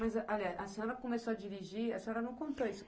Mas, aliás, a senhora começou a dirigir, a senhora não contou isso.